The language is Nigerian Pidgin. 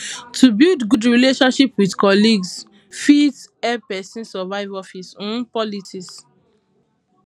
to build good relationship with colleagues um fit help pesin survive office um politics um